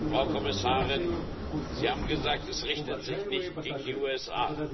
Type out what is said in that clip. Frau Kommissarin, Sie haben gesagt Es richtet sich nicht gegen die USA.